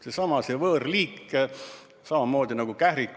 See on võõrliik, samamoodi nagu kährik.